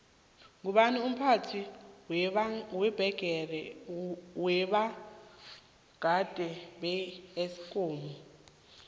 ngubani umphathi wabonagada beesikomu